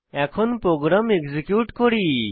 এখন program execute করি